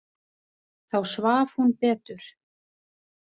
Þá svaf hún betur.